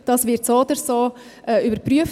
Das wird so oder so überprüft.